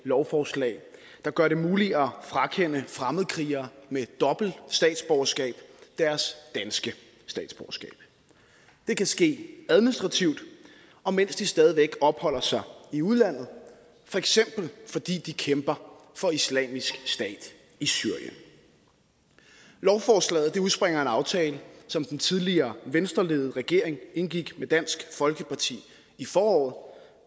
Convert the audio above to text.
lovforslag der gør det muligt at frakende fremmedkrigere med dobbelt statsborgerskab deres danske statsborgerskab det kan ske administrativt og mens de stadig væk opholder sig i udlandet for eksempel fordi de kæmper for islamisk stat i syrien lovforslaget udspringer af en aftale som den tidligere venstreledede regering indgik med dansk folkeparti i foråret